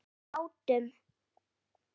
um látum.